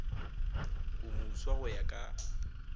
o moswa go ya ka